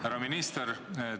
Härra minister!